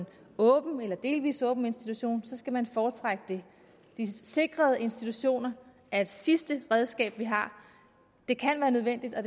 åben eller delvis åben institution så skal man foretrække det de sikrede institutioner er et sidste redskab vi har det kan være nødvendigt og